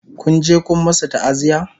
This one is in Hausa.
Kun je Kun masu ta'aziya?